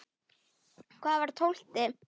Hvað var tólfti?